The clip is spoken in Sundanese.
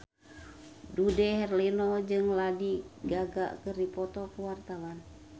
Dude Herlino jeung Lady Gaga keur dipoto ku wartawan